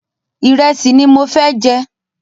Ìrẹ́sì ni mo fẹ́ jẹ.